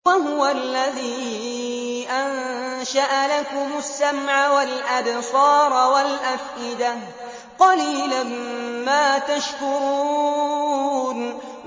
وَهُوَ الَّذِي أَنشَأَ لَكُمُ السَّمْعَ وَالْأَبْصَارَ وَالْأَفْئِدَةَ ۚ قَلِيلًا مَّا تَشْكُرُونَ